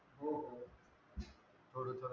हो हो थोड तर